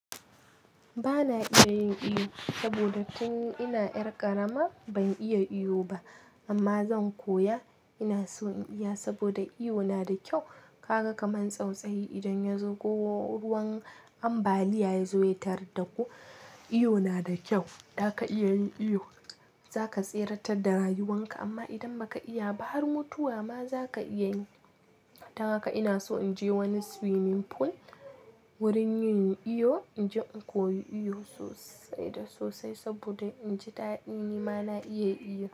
Ba na iya yin iyo saboda tun ina ƴar ƙarama ban iya iyo ba amma zan koya. Ina so in iya saboda iyo na da kyau. Kaga kaman tsautsayi idan ya zo ko ruwan ambaliya ya zo ya tarar da ku, iyo na da kyau. Da ka iya yin iyo za ka tseratar da rayuwan ka amma idan ba ka iya ba har mutuwa ma za ka iya yi. Don haka ina so in je wani swimming pool wurin yin iyo in je in koyi iyo sosai da sosai saboda in ji daɗi nima na iya iyo.